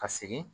Ka segin